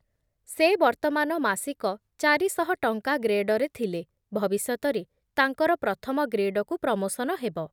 ସେ ବର୍ତ୍ତମାନ ମାସିକ ଚାରିଶହ ଟଙ୍କା ଗ୍ରେଡ଼୍‌ରେ ଥିଲେ, ଭବିଷ୍ୟତରେ ତାଙ୍କର ପ୍ରଥମ ଗ୍ରେଡକୁ ପ୍ରମୋସନ ହେବ ।